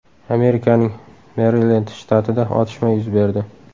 Amerikaning Merilend shtatida otishma yuz berdi.